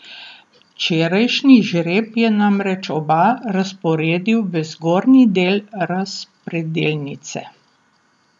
Včerajšnji žreb je namreč oba razporedil v zgornji del razpredelnice.